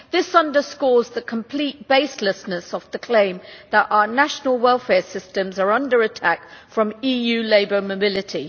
This underscores the complete baselessness of the claim that our national welfare systems are under attack from EU labour mobility.